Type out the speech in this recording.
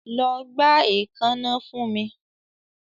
Lọ gba eekanna fun mi